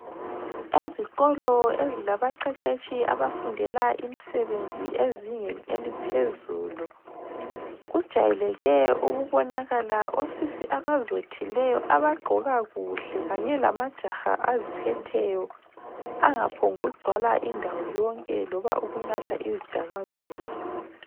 Ezikolo ezilaba qeqetshi abafundela imsebenzi ezingeni eliphezulu, kujayeleke ukubonakala osisi abazothileyo abagqoka kuhle kanye lamajaha aziphetheyo angaphombu kugcwala indawo yonke loba ukunatha izidakamizwa.